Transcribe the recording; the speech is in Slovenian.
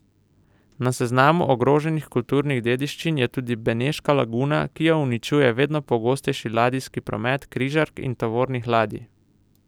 Na seznamu ogroženih kulturnih dediščin je tudi beneška laguna, ki jo uničuje vedno pogostejši ladijski promet križark in tovornih ladij.